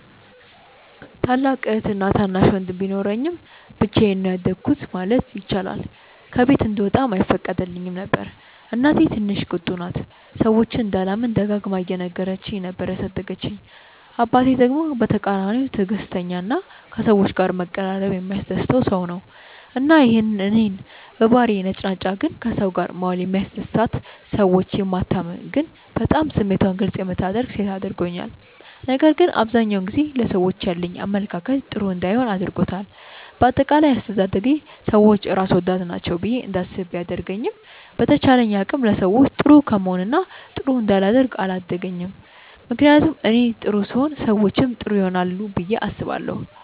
ታላቅ እህትና ታናሽ ወንድም ቢኖረኝም ብቻዬን ነው ያደኩት ማለት ይቻላል። ከቤት እንድወጣም አይፈቀድልኝም ነበር። እናቴ ትንሽ ቁጡ ናት፤ ሰዎችን እንዳላምን ደጋግማ እየነገረች ነበር ያሳደገችኝ። አባቴ ደግሞ በተቃራኒው ትዕግስተኛ እና ከሰዎች ጋር መቀራረብ የሚያስደስተው ሰው ነው። እና ይሄ እኔን በባህሪዬ ነጭናጫ ግን ከሰው ጋር መዋል የሚያስደስታት፣ ሰዎችን የማታምን ግን በጣም ስሜቷን ግልፅ የምታደርግ ሴት አድርጎኛል። ነገር ግን አብዛኛውን ጊዜ ለሰዎች ያለኝ አመለካከት ጥሩ እንዳይሆን አድርጎታል። በአጠቃላይ አስተዳደጌ ሰዎች ራስ ወዳድ ናቸው ብዬ እንዳስብ ቢያደርገኝም በተቻለኝ አቅም ለሰዎች ጥሩ ከመሆን እና ጥሩ እንዳላደርግ አላገደኝም። ምክንያቱም እኔ ጥሩ ስሆን ሰዎችም ጥሩ ይሆናሉ ብዬ አስባለሁ።